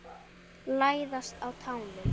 Læðast á tánum.